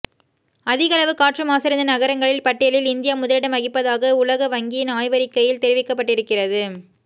அதிகளவு காற்று மாசடைந்த நகரங்களின் பட்டியலில் இந்தியா முதலிடம் வகிப்பதாக உலக வங்கியின் ஆய்வறிக்கையில் தெரிவிக்கப்பட்டிருக்கிறது